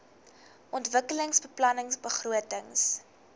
ontwikkelingsbeplanningbegrotings